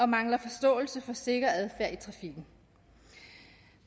mangler forståelse for sikker adfærd i trafikken